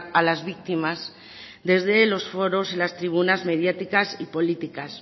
a las victimas desde los foros y las tribunas mediáticas y políticas